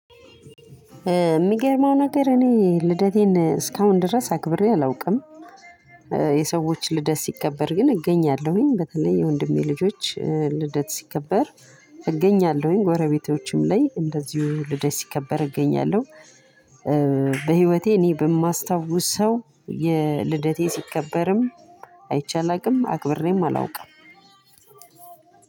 የሚገርመው ነገር እኔ ልደቴን እስካሁን ድረስ አክብሬ አላውቅም። የሰዎች ልደት ሲከበር ግን እገኛለሁኝ በተለይ የወንድሜ ልጆች ልደት ሲከበር እገኛለሁኝ ጎረቤቶችም ላይ እንደዚሁ ሁሉ ልደት ሲከበር እገኛለሁ። በህይወቴ እኔ በማስታውሰው የልደቴ ሲከበርም አይቼ አላውቅም አክብሬም አላውቅም።